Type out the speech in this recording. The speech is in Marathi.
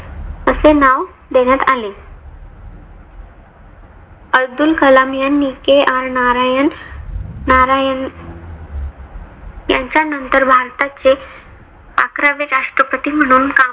देण्यात आले. अब्दुल कलाम यांनी K. R. नारायण नारायण यांच्या नंतर भारताचे अकरावे राष्ट्रपती म्हणून काम